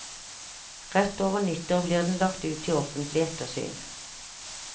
Rett over nyttår blir den lagt ut til offentlig ettersyn.